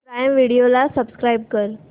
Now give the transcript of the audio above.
prime Video ला subscribe कर